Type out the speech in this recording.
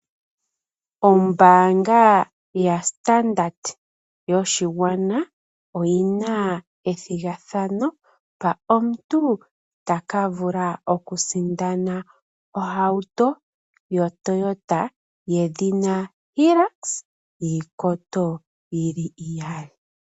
Ombaanga ya standard yoshingwana oyina ethigathano mpa omuntu takavula okusindana ohauto yedhina Hilux yiikoto yili iyali.